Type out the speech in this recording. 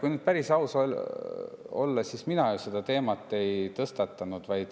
Kui nüüd päris aus olla, siis mina ju seda teemat ei tõstatanud.